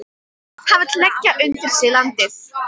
Hann vill leggja undir sig landið.